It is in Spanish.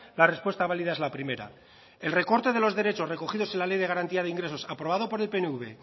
la respuesta válida es la primera el recorte de los derechos recogidos en la ley de garantía de ingresos aprobado por el pnv